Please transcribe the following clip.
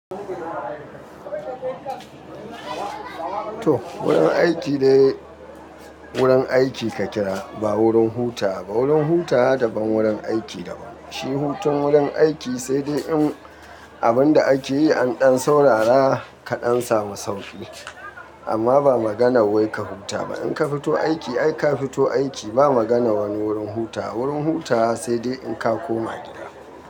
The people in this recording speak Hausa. To wurin aiki ne wurin aiki ka kira ba wurin hutawa. Wurin hutawa daban, wurin aiki daban. Shi hutun wurin aiki sai dai abinda akeyi an ɗan saurara ka ɗan samu sauki. Amma ba magana wai ka huta ba. In ka fito aiki ai ka fito aiki ba maganan wani wurin hutawa. Wurin hutawa sai dai in ka koma gida.